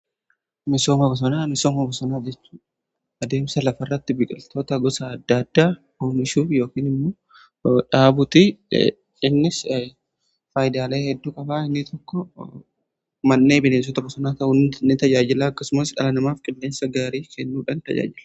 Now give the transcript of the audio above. Misooma bosonaa: Misooma bosonaa jechuun adeemsa lafa irratti biqiltoota gosa adda addaa oomishuuf yookiin immoo dhaabuti. Innis faayidalee hedduu qaba. Inni tokko mannee bineensota bosanaa ta'un ni tajaajilaa akkasumas dhala namaaf qilleensa gaarii kennuudha tajaajilla.